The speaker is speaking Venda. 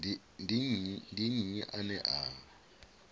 ndi nnyi ane a i